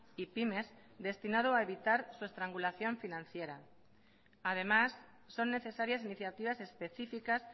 y pymes destinado a evitar su estrangulación financiera además son necesarias iniciativas específicas